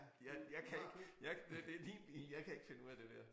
Jeg jeg kan ikke jeg det det din bil jeg kan ikke finde ud af det der